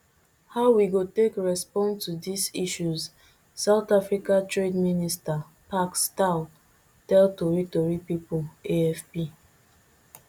how we go take respond to dis issues south africa trade minister parks tau tell tori tori pipo afp